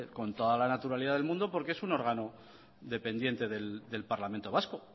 con toda la naturalidad del mundo porque es un órgano dependiente del parlamento vasco